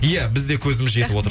иә біз де көзіміз жетіп отыр